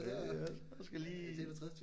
Hey hvad så skal vi lige